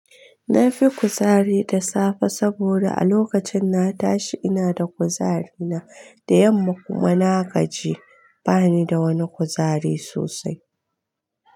Na fi kuzari da safe saboda a lokacin na tashi ina da kuzari na da yamma kuma na gaji bani da wani kuzari sosai.